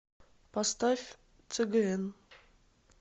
поставь цгн